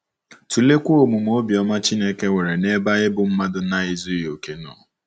Tụleekwa omume obiọma Chineke nwere n’ebe anyị bụ́ mmadụ na-ezughị okè nọ.